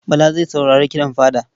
Bala zai saurari kiɗan fada.